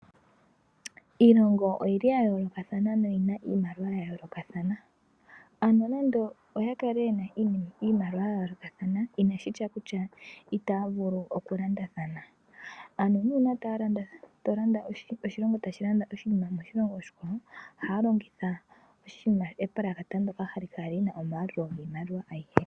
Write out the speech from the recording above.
Iilongo oyili ya yoolokathana noyina iimaliwa ya yoolokathana, ano nonando oyakale yena iimaliwa ya yoolokathana itashiti itaya vulu okulandathana. Uuna oshilongo tashi landa oshinima moshilongo oshikwawo ohaya longitha epulakata ndoka hali kala lina omayalulo agehe.